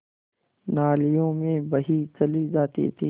नालियों में बही चली जाती थी